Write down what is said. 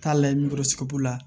Taa layi la